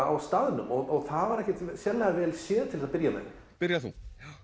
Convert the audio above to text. á staðnum og það var ekki sérlega vel séð til að byrja með byrja þú já